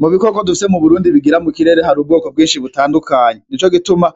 Mu bikoko dufise mu Burundi bigira mu kirere hari ubwoko bwinshi butandukanye, nico gituma